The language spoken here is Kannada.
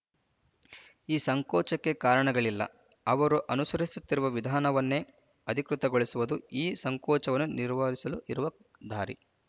ಈ ಸಂಕೋಚಕ್ಕೆ ಕಾರಣಗಳಿಲ್ಲ ಅವರು ಅನುಸರಿಸುತ್ತಿರುವ ವಿಧಾನವನ್ನೇ ಅಧಿಕೃತಗೊಳಿಸುವುದು ಈ ಸಂಕೋಚವನ್ನು ನಿರವಾರಿಸಲು ಇರುವ ದಾರಿ